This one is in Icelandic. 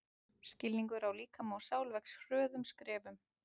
Skilningur á líkama og sál vex hröðum skrefum.